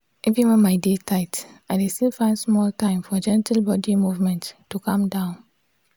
even when my day tight i dey still find small time for gentle body movement to calm down.